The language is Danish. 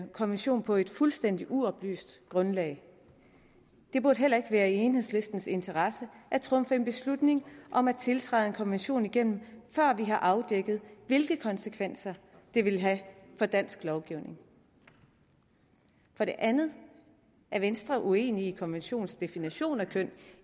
konvention på et fuldstændig uoplyst grundlag det burde heller ikke være i enhedslistens interesse at trumfe en beslutning om at tiltræde en konvention igennem før vi har afdækket hvilke konsekvenser det vil have for dansk lovgivning for det andet er venstre uenig i konventionens definition af køn